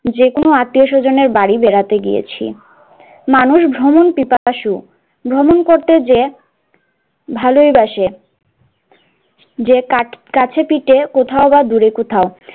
যেকোনো আত্মীয়-স্বজনের বাড়ি বেড়াতে গিয়েছি, মানুষ ভ্রমণ ভ্রমণ করতে যেয়ে ভালোইবাসে, যে কাজ কাছে পিঠে কোথাওবা দূরে কোথাও,